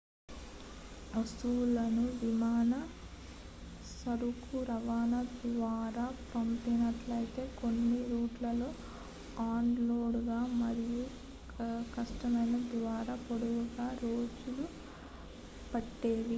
వారు వస్తువులను విమాన సరుకు రవాణా ద్వారా పంపినట్లయితే కొన్ని రూట్లలో అన్ లోడింగ్ మరియు కస్టమ్స్ ద్వారా పొందడానికి రోజులు పట్టేవి